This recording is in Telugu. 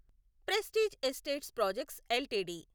prestige Estates Projects LTD